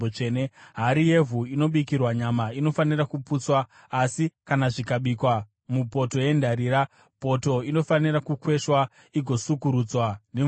Hari yevhu inobikirwa nyama inofanira kuputswa; asi kana zvikabikwa mupoto yendarira, poto inofanira kukweshwa igosukurudzwa nemvura.